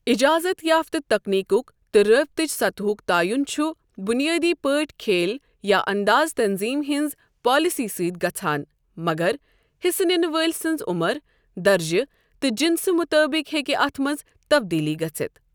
اجازت یافتہ تکنیک تہٕ رابطٕچ سطحُک تعیُن چھُ بنیٲدی پٲٹھۍ کھیل یا انداز تنظیم ہنٛز پالیسی سۭتۍ گژھان مگر حصہٕ نِنہٕ وٲلۍ سنٛز عمر، درجہٕ تہٕ جنسہٕ مُطٲبق ہیکہِ اتھ منٛز تَبدیٖلی گژھتھ۔۔